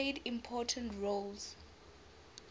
played important roles